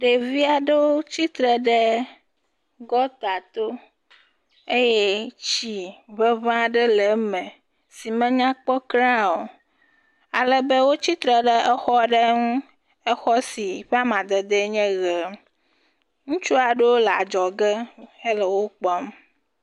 ɖevi aɖewo tsitre ɖe gɔŋtato eye tsi ŋeŋe aɖe le eme si menyakpɔ kura o. Alebe wotsitre ɖe exɔ aɖe ŋu. Exɔ si ƒe amadedee nye ʋee. Ŋutsu aɖewo le adzɔge hele wokpɔm.